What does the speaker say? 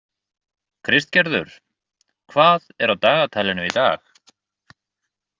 Kristgerður, hvað er á dagatalinu í dag?